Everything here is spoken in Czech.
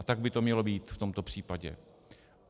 A tak by to mělo být v tomto případě.